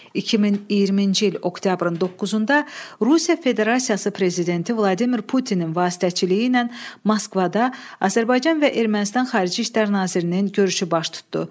2020-ci il oktyabrın 9-da Rusiya Federasiyası prezidenti Vladimir Putinin vasitəçiliyi ilə Moskvada Azərbaycan və Ermənistan xarici İşlər nazirinin görüşü baş tutdu.